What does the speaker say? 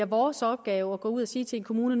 vores opgave at gå ud og sige til kommunerne